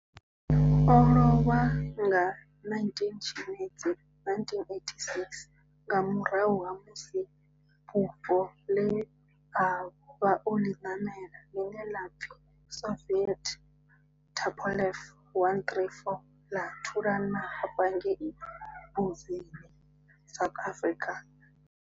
O lovha nga 19 Tshimedzi 1986 nga murahu ha musi bufho le a vha o li namela, line la pfi Soviet Tupolev 134 la thulana thavha ngei Mbuzini, South Africa.